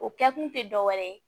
O kɛkun te dɔwɛrɛ ye